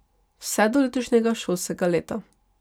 Vse do letošnjega šolskega leta.